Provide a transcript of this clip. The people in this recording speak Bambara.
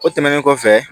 O tɛmɛnen kɔfɛ